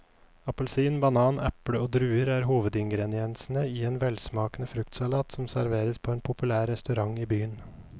Appelsin, banan, eple og druer er hovedingredienser i en velsmakende fruktsalat som serveres på en populær restaurant i byen.